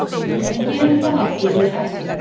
En gerir það náttúrlega ekki.